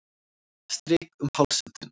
Strýk um háls þinn.